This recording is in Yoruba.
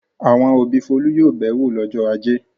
Àwọn òbí Folú yóò bẹ̀ ẹ́ wò lọ́jọ́ ajé.